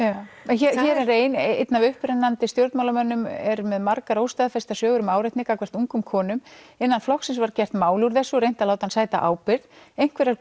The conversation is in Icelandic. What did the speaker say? hér er ein einn af upprennandi stjórnmálamönnum er með margar óstaðfestar sögur um áreitni gagnvart ungum konum innan flokksins var gert mál úr þessu og reynt að láta hann sæta ábyrgð einhverjar